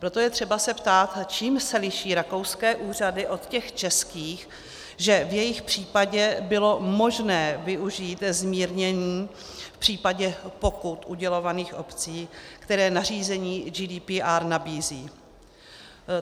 Proto je třeba se ptát, čím se liší rakouské úřady od těch českých, že v jejich případě bylo možné využít zmírnění v případě pokut udělovaných obcí, které nařízení GDPR nabízí?